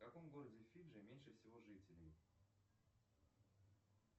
в каком городе фиджи меньше всего жителей